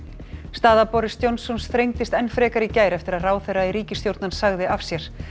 staða Boris Johnsons enn frekar í gær eftir að ráðherra í ríkisstjórn hans sagði af sér